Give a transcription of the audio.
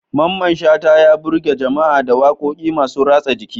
Mamman Shata, ya birge jama'a da wakokinsa masu ratsa jiki.